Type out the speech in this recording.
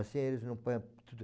Assim eles não põem tudo...